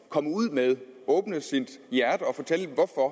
komme ud med at åbne sit hjerte og fortælle hvorfor